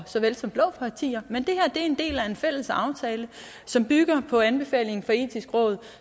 såvel som blå partier men det her er en del af en fælles aftale som bygger på anbefalingen fra det etiske råd